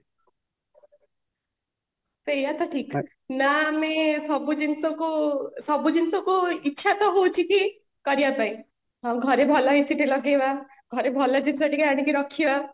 ସେଇଆ ତ ଠିକ ଅଛି ନା ଆମେ ସବୁ ଜିନିଷକୁ ସବୁ ଜିନିଷକୁ ଇଚ୍ଛା ତ ହଉଛି କି କରିବା ପାଇଁ ଘରେ ଭଲ AC ଟେ ଲଗେଇବା ଘରେ ଭଲ ଜିନିଷ ଟିକେ ଆଣିକି ରଖିବା